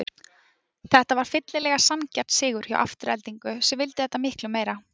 Þetta var fyllilega sanngjarn sigur hjá Aftureldingu sem vildi þetta miklu meira.